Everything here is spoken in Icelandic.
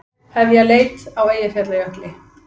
Hefja leit á Eyjafjallajökli